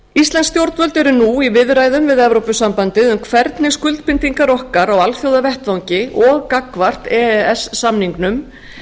íslensk stjórnvöld eru nú í viðræðum við e s b um hvernig skuldbindingar okkar á alþjóðavettvangi og gagnvart e e s samningnum